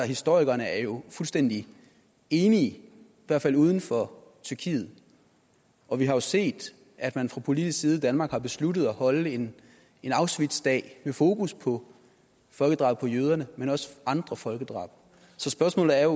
historikerne er jo fuldstændig enige i hvert fald uden for tyrkiet og vi har jo set at man fra politisk side i danmark har besluttet at holde en en auschwitzdag med fokus på folkedrabet på jøderne men også andre folkedrab så spørgsmålet er